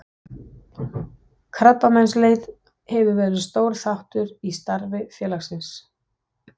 Krabbameinsleit hefur verið stór þáttur í starfi félagsins.